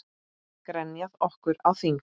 Grenjað okkur á þing?